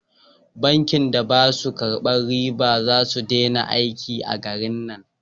Bankin da ba su karban riba za su dena aiki a garin nan